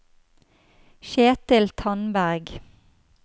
Kjetil Tandberg